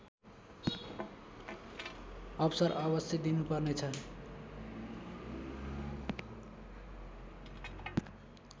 अवसर अवश्य दिनुपर्नेछ